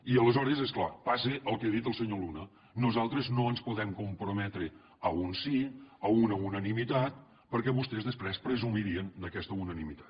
i aleshores és clar passa el que ha dit el senyor luna nosaltres no ens podem comprometre a un sí a una unanimitat perquè vostès després presumirien d’aquesta unanimitat